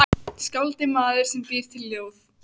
Skáld er maður sem býr til ljóð.